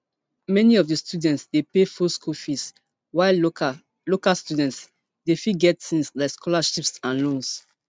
many of di students dey pay full school fees while local local students dey fit get tins like scholarships and loans